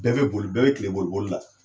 Bɛɛ bɛ boli, bɛɛ bɛ kile boli boli la.